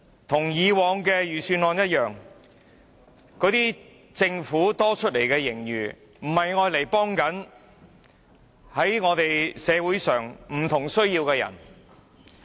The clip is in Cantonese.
跟以往的預算案一樣，政府多出來的盈餘不是用作幫助社會上有不同需要的人。